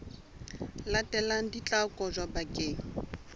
latelang di tla kotjwa bakeng